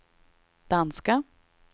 danska